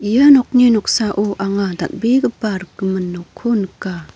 ia nokni noksao anga dal·begipa rikgimin nokko nika.